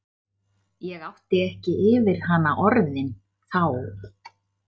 Ég átti ekki yfir hana orðin þá.